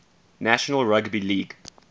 national rugby league